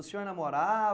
O senhor